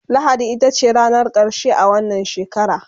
lahadi itace ranar karshe a wannan shekara